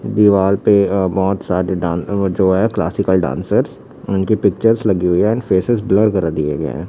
दिवाल पे अ बहोत सारे डां अ जो है क्लासिकल डांसर्स उनकी पिक्चर्स लगी हुई है ऍन्ड फेसेस ब्लर करा दी गई है।